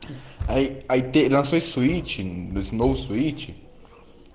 альбинос увеличен до встречи